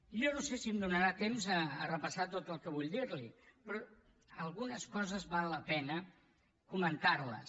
jo no sé si em donarà temps a repassar tot el que vull dir li però algunes coses val la pena comentar les